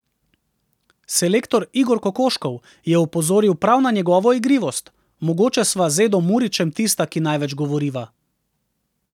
Selektor Igor Kokoškov je opozoril prav na njegovo igrivost: "Mogoče sva z Edom Murićem tista, ki največ govoriva.